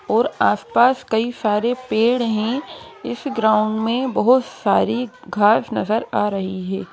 और आसपास कई सारे पेड़ हैं इस ग्राउंड में बहुत सारी घास नजर आ रही है।